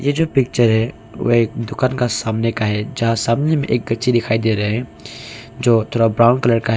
यह जो पिक्चर है वे एक दुकान का सामने का है जहाँ सामने में एक कच्ची दिखाई दे रहे हैं। जो थोड़ा ब्राउन कलर का है।